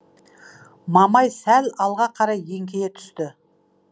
мамай сәл алға қарай еңкейе түсті